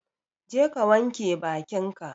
Jeka wanka bakin ka